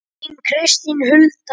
Þín Kristín Hulda.